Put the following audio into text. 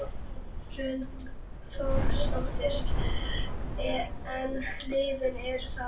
Hrund Þórsdóttir: En lyfin eru það?